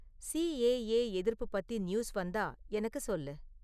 CAA எதிர்ப்பு பத்தி news வந்தா எனக்குச் சொல்லு